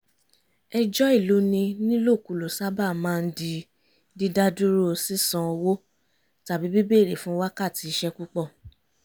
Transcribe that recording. ẹjọ́ ìloni nílòkulò sábà maá ń di dídádúró sísan owó tàbí bíbèrè fún wákàtí iṣẹ́ púpọ̀